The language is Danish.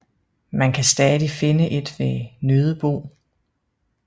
Man kan stadig finde et ved Nødebo